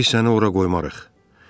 Biz səni ora qoymarıq.